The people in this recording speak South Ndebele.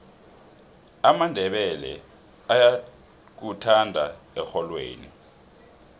amandebele ayakuthanda erholweni